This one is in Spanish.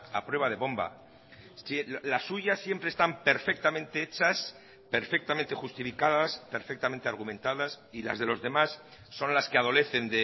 a prueba de bomba la suya siempre están perfectamente hechas perfectamente justificadas perfectamente argumentadas y las de los demás son las que adolecen